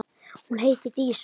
Hún heitir Dísa.